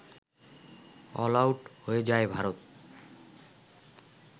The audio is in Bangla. অলআউট হয়ে যায় ভারত